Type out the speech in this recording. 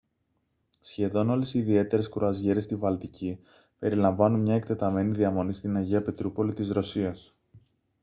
σχεδόν όλες οι ιδιαίτερες κρουαζιέρες στη βαλτική περιλαμβάνουν μια εκτεταμένη διαμονή στην αγία πετρούπολη της ρωσίας